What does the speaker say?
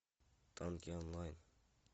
танки онлайн